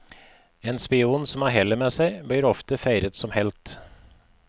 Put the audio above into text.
En spion som har hellet med seg, blir ofte feiret som helt.